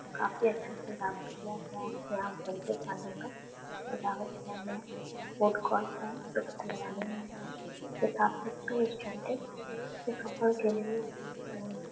काफी अच्छे से सजावट किया गया है। यहाँ यहाँ दिख रही है। ये काफी अच्छी रेस्ट्रॉन्ट है। के लिए --